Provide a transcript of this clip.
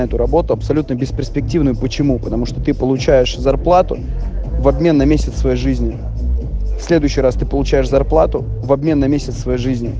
эту работу абсолютно бесперспективную почему потому что ты получаешь зарплату в обмен на месяц своей жизни в следующий раз ты получаешь зарплату в обмен на месяц своей жизни